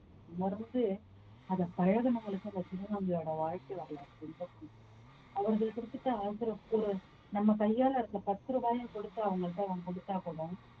உணர்ந்து அத பழகனவங்களுக்கு அந்த திருநங்கையோட வாழ்க்கை வரலாறு அவர்கள் ஒரு நம்ம கையால இருக்கிற பத்து ரூபாய கொடுத்து அவங்கள்ட்ட நாம கொடுத்தா கூட